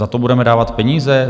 Za to budeme dávat peníze?